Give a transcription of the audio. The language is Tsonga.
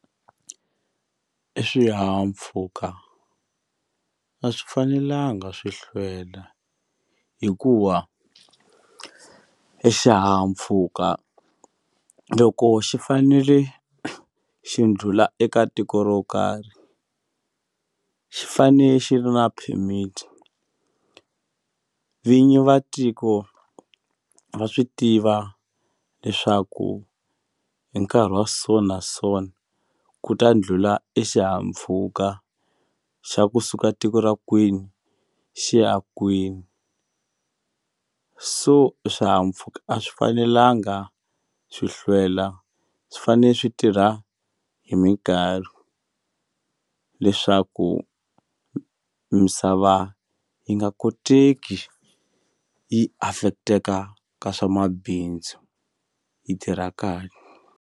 I swihahampfhuka a swi fanelanga swi hlwela hikuva exihahampfhuka loko xi fanele xi ndlula eka tiko ro karhi xi fane xi ri na permit vinyi va tiko va swi tiva leswaku hi nkarhi wa so na so na ku ta ndlhula exihahampfhuka xa kusuka tiko ra kwini xi ya kwini so swihahampfuka a swi fanelanga swi hlwela swi fane swi tirha hi mikarhi leswaku misava yi nga koteki yi affect-eka ka swa mabindzu yi tirha .